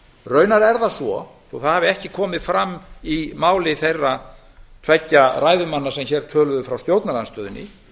raunar er það svo þó það hafi ekki komið fram í máli þeirra tveggja ræðumanna sem hér töluðu frá stjórnarandstöðunni